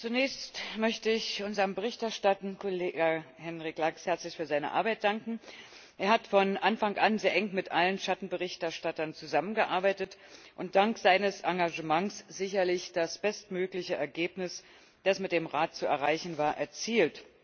Herr Präsident! Zunächst möchte ich unserem berichterstattenden Kollegen, Henrik Lax, herzlich für seine Arbeit danken. Er hat von Anfang an sehr eng mit allen Schattenberichterstattern zusammengearbeitet und dank seines Engagements sicherlich das bestmögliche Ergebnis, das mit dem Rat zu erreichen war, erzielt.